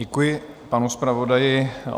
Děkuji panu zpravodaji.